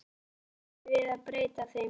Af hverju ættum við að breyta þeim?